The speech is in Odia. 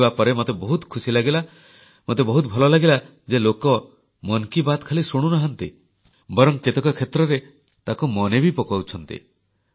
ଶୁଣିବା ପରେ ମୋତେ ବହୁତ ଖୁସି ଲାଗିଲା ମୋତେ ବହୁତ ଭଲ ଲାଗିଲା ଯେ ଲୋକ ମନ୍ କି ବାତ୍ ଖାଲି ଶୁଣିନାହାଁନ୍ତି ବରଂ କେତେକ କ୍ଷେତ୍ରରେ ତାଙ୍କୁ ମନେ ବି ପକାଉଛନ୍ତି